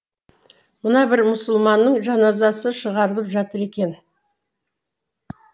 мына бір мұсылманның жаназасы шығарылып жатыр екен